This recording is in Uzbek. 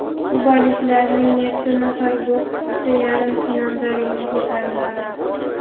Kubaliklarning yetti nafar bokschisi yarim finalda ringga ko‘tariladi.